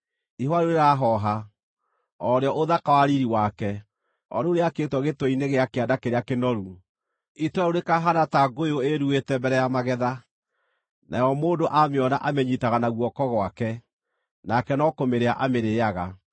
Ihũa rĩu rĩraahooha, o rĩo ũthaka wa riiri wake, o rĩu rĩakĩtwo gĩtwe-inĩ gĩa kĩanda kĩrĩa kĩnoru, itũũra rĩu rĩkaahaana ta ngũyũ ĩĩruĩte mbere ya magetha, nayo mũndũ aamĩona amĩnyiitaga na guoko gwake, nake no kũmĩrĩa amĩrĩĩaga.